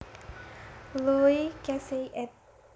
Loe Casey ed